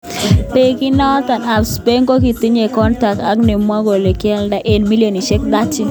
Bekinnoto ab Spain kotindo kontact ab nemwoi kole kiolda eng milionisiek 30.